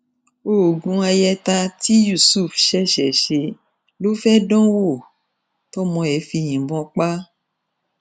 oògùn ayẹta tí yusuf ṣẹṣẹ ṣe ló fẹẹ dán wò tọmọ ẹ fi yìnbọn pa á